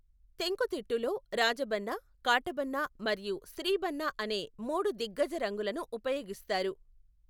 తెంకుతిట్టులో, రాజబన్నా, కాటబన్నా మరియు స్త్రీబన్నా అనే మూడు దిగ్గజ రంగులను ఉపయోగిస్తారు.